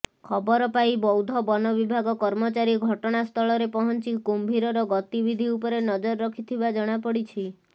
ଖବର ପାଇ ବୌଦ୍ଧ ବନ ବିଭାଗ କର୍ମଚାରୀ ଘଟଣାସ୍ଥଳରେ ପହଞ୍ଚି କୁମ୍ଭୀରର ଗତିବିଧି ଉପରେ ନଜର ରଖିଥିବା ଜଣାପଡ଼ିଛି